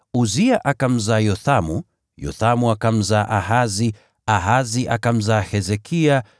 Uzia akamzaa Yothamu, Yothamu akamzaa Ahazi, Ahazi akamzaa Hezekia,